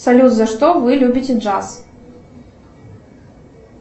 салют за что вы любите джаз